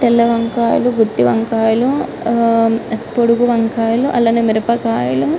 తెల్ల వంకాయలు గుత్తి వంకాయలు అ పొడువు వంకాయలు అలానే మిరపకాయలు --